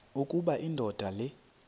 ukuba indoda le